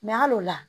hal'o la